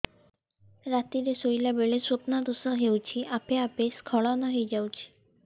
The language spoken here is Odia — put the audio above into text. ରାତିରେ ଶୋଇଲା ବେଳେ ସ୍ବପ୍ନ ଦୋଷ ହେଉଛି ଆପେ ଆପେ ସ୍ଖଳନ ହେଇଯାଉଛି